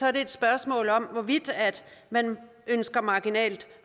er det et spørgsmål om hvorvidt man ønsker marginalt